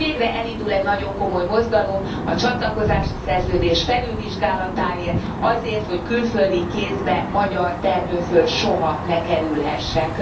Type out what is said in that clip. De most végre elindul egy nagyon komoly mozgalom a csatlakozási szerződés felülvizsgálatáért, azért, hogy külföldi kézbe magyar termőföld soha ne kerülhessen.